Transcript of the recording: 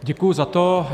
Děkuji za to.